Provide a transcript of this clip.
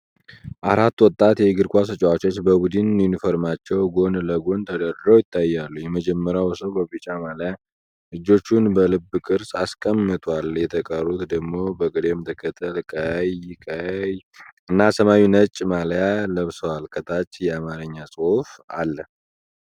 አራት ወጣት የእግር ኳስ ተጫዋቾች በቡድን ዩኒፎርማቸው ጎን ለጎን ተደርድረው ይታያሉ። የመጀመሪያው ሰው በቢጫ ማልያ እጆቹን በልብ ቅርጽ አስቀምጧል። የተቀሩት ደግሞ በቅደም ተከተል ቀይ፣ ቀይ እና ሰማያዊና ነጭ ማልያ ለብሰዋል። ከታች የአማርኛ ጽሑፍ አለ።